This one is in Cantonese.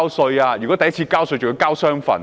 首次交稅的人更須繳交雙份稅款。